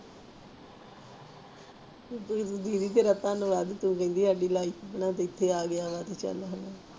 ਸਿਧਿ ਸਿਧਿ ਜੀ ਗ੍ਰਤਾ ਵੱਲ ਆਗੀ ਪੈ ਰਹਿੰਦੀ ਹੱਡੀ ਲਾਈਫ ਤੂੰ ਚਾਲ ਹਾਂ